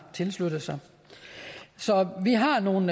tilsluttet sig så vi har nogle